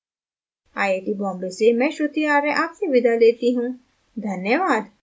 I I T Bombay से मैं श्रुति आर्य आपसे विदा लेती हूँ धन्यवाद